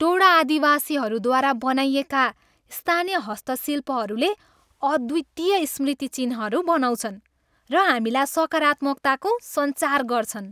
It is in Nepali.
टोडा आदिवासीहरूद्वारा बनाइएका स्थानीय हस्तशिल्पहरूले अद्वितीय स्मृति चिन्हहरू बनाउँछन् र हामीमा सकारात्मकताको सञ्चार गर्छन्।